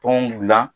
Tɔn gilan